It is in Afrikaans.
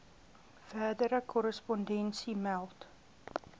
verdere korrespondensie meld